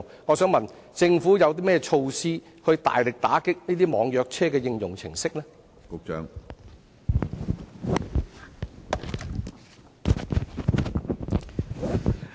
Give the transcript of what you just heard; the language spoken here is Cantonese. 我想問局長，政府有何措施大力打擊這些網約車應用程式？